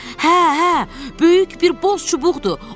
Hə, hə, böyük bir boz çubuqdur.